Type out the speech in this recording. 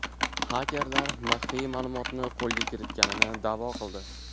Xakerlar maxfiy ma’lumotni qo‘lga kiritganini da’vo qildi.